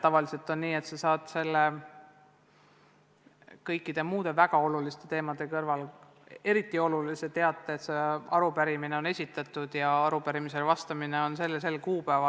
Tavaliselt on nii, et minister saab kõikide muude väga oluliste teemade kõrval selle eriti olulise teate, et esitatud on arupärimine ning arupärimisele vastamine toimub sel ja sel kuupäeval.